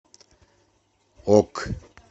ок